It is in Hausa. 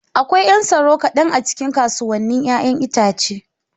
Akwai 'yan tsaro kaɗan a cikin kasuwannin 'ya'yan itace.